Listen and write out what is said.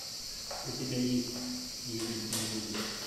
у тебя есть любит не любит